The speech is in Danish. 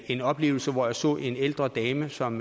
en oplevelse hvor jeg så en ældre dame som